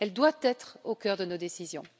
Elle doit être au cœur de nos décisions.